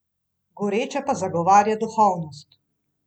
Goreče pa zagovarja duhovnost.